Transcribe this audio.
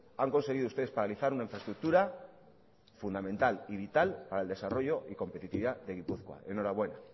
han conseguido ustedes paralizar una infraestructura fundamental y vital para el desarrollo y competitividad de gipuzkoa enhorabuena